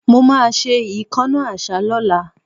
Mo ma ṣe ìkánná àṣá lọ́la